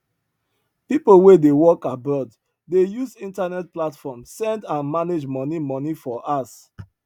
people wey dey work abroad dey use internet platform send and manage money money for house